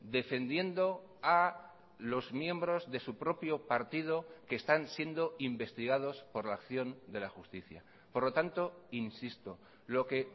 defendiendo a los miembros de su propio partido que están siendo investigados por la acción de la justicia por lo tanto insisto lo que